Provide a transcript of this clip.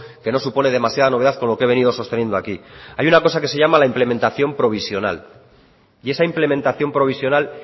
que no supone demasiada novedad con lo que he venido sosteniendo aquí hay una cosa que se llama la implementación provisional y esa implementación provisional